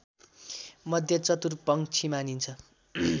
मध्ये चतुर पंक्षी मानिन्छ